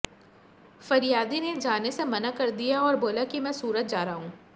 फरियादी ने जाने से मना करा दिया और बोला कि मैं सूरत जा रहा हूं